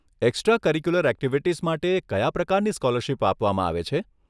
Extra curricular activities માટે કયા પ્રકારની સ્કોલરશીપ આપવામાં આવે છે?